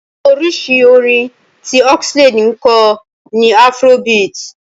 Oríṣi orin tí Oxlade ń kọ ni afrobeat.